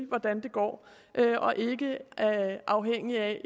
hvordan det går og ikke afhængigt af